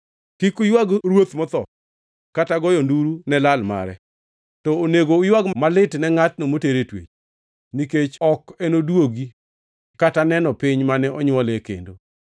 Kik uywag ruoth motho kata goyo nduru ne lal mare; to onego, uywag malit ne ngʼatno moter e twech, nikech ok enoduogi kata neno piny mane onywole kendo.